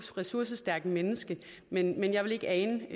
ressourcestærkt menneske men jeg ville ikke ane